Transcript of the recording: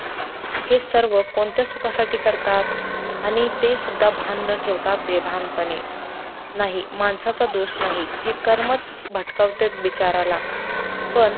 हे सर्व कोणत्या सुखा साठी करतात, आणी ते सुद्धा भान न ठेवता, बेभान पणे, नाही माणसाचा दोष नाही. हे कर्मच भटकवतेत बिचाऱ्याला पण